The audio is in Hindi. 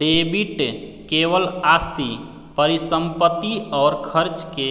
डेबिट केवल आस्ति परिसंपत्ति और खर्च के